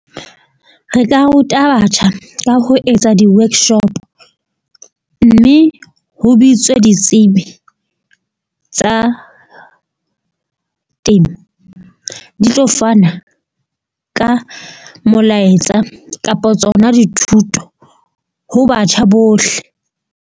Re ka ruta batjha ka ho etsa di-workshop mme ho bitswe ditsebi tsa temo, di tlo fana ka molaetsa kapa tsona dithuto ho batjha bohle.